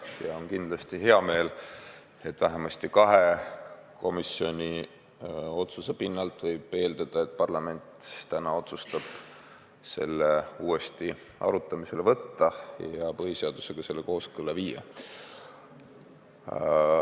Ja kindlasti on hea meel ka selle üle, et vähemasti kahe komisjoni otsuse pinnalt võib eeldada, et parlament täna otsustab seaduse uuesti arutamisele võtta ja põhiseadusega kooskõlla viia.